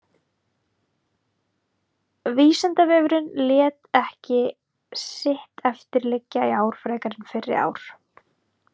Vísindavefurinn lét ekki sitt eftir liggja í ár frekar en fyrri ár.